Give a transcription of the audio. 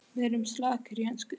Við erum slakir í ensku